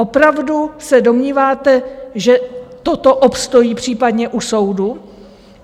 Opravdu se domníváte, že toto obstojí případně u soudu?